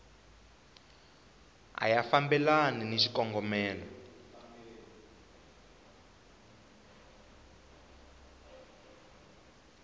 a ya fambelani ni xikongomelo